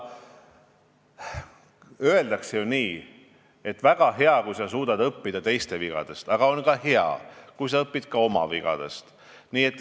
Öeldakse ju nii, et on hea, kui sa suudad õppida teiste vigadest, aga on väga hea, kui sa õpid ka oma vigadest.